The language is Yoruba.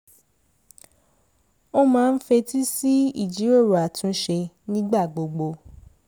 ó máa ń fetí sí ìjíròrò àtúnṣe nígbà gbogbo